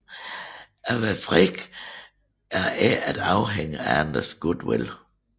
At være fri er ikke at afhænge af andres goodwill